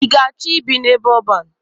Ị ga-achọ ibi n'ebe ọban?